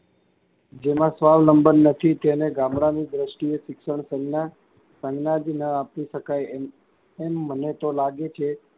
જેમાં સ્વાવલંબન નથી તેને ગામડાંની દ્રષ્ટિએ શિક્ષણ સંજ્ઞા, સંજ્ઞા જ ન આપી શકાય એમ એમ મને તો લાગે છે.